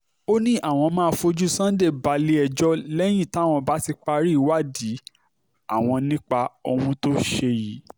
ó ní àwọn máa fojú sunday balẹ̀-ẹjọ́ lẹ́yìn táwọn bá ti parí ìwádìí àwọn nípa ohun tó ṣe yìí